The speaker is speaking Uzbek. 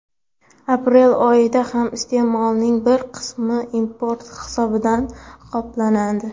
Aprel oyida ham iste’molning bir qismini import hisobidan qoplanadi.